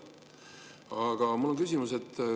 Aga mul on küsimus.